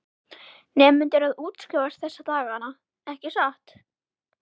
Nemendur að útskrifast þessa dagana ekki satt.